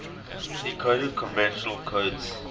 decoded convolutional codes